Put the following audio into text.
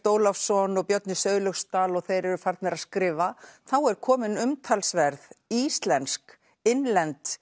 Ólafsson og Björn í Sauðlauksdal og þeir eru farnir að skrifa þá er komin umtalsverð íslensk innlend